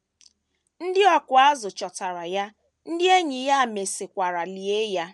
Ndị ọkụ azụ̀ chọtara ya, ndị enyi ya mesịkwara lie ya.